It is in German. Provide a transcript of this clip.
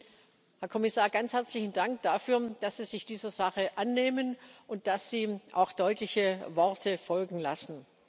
Deswegen, Herr Kommissar, ganz herzlichen Dank dafür, dass Sie sich dieser Sache annehmen und dass Sie auch deutliche Worte folgen lassen.